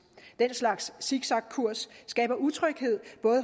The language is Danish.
den slags siksakkurs skaber utryghed